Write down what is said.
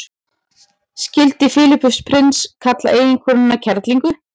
skildi filippus prins kalla eiginkonuna kerlingu